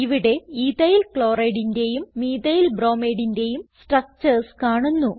ഇവിടെ EthylChlorideന്റേയും Methylbromideന്റേയും സ്ട്രക്ചർസ് കാണുന്നു